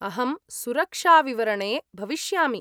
अहं सुरक्षाविवरणे भविष्यामि।